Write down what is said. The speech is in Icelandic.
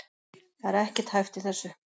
Það er ekkert hæft í þessu